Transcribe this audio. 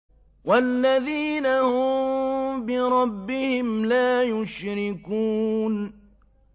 وَالَّذِينَ هُم بِرَبِّهِمْ لَا يُشْرِكُونَ